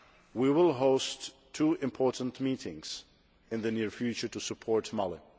We will host two important meetings in the near future to support Mali.